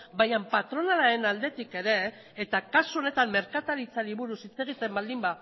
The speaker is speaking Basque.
bainan patronalaren aldetik ere eta kasu honetan merkataritzari buruz hitz egiten baldin